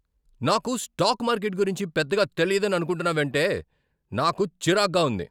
నాకు stock market గురించి పెద్దగా తెలియదని అనుకుంటున్నావంటే నాకు చిరాగ్గా ఉంది.